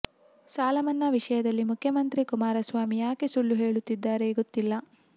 ಸಾಲ ಮನ್ನಾ ವಿಷಯದಲ್ಲಿ ಮುಖ್ಯಮಂತ್ರಿ ಕುಮಾರಸ್ವಾಮಿ ಯಾಕೆ ಸುಳ್ಳು ಹೇಳುತ್ತಿದ್ದಾರೆ ಗೊತ್ತಿಲ್ಲ